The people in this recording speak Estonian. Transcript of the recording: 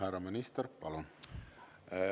Härra minister, palun!